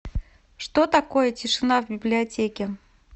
что такое тишина в библиотеке